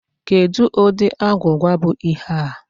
Kedụ ụdị agwụgwa bụ ihe a?